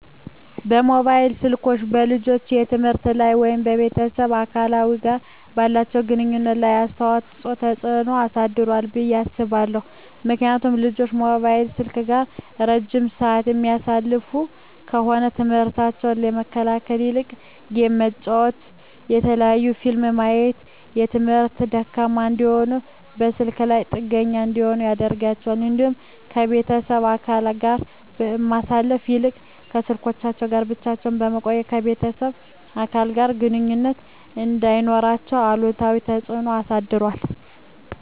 መሞባይል ስልኮች በልጆች የትምህርት ላይ ወይም ከቤተሰብ አባላት ጋር ባላቸው ግንኙነት ላይ አሉታዊ ተጽዕኖ አሳድሯል ብየ አስባለሁ። ምክንያቱም ልጆች ሞባይል ስልክ ጋር እረጅም ስዓት የሚያሳልፉ ከሆነ ትምህርሞታቸውን ከመከታተል ይልቅ ጌም በመጫወት የተለያዩ ፊልሞችን በማየት በትምህርታቸው ደካማ እንዲሆኑና በስልካቸው ላይ ጥገኛ እንዲሆኑ ያደርጋቸዋል። እንዲሁም ከቤተሰብ አባለት ጋር ከማሳለፍ ይልቅ ከስልኮቻቸው ጋር ብቻ በመቆየት ከቤተሰብ አባለት ጋር ግንኙነት እንዳይኖራቸው አሉታዊ ተፅዕኖ አሳድሯል።